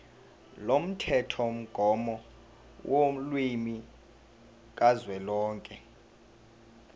lomthethomgomo wolimi kazwelonke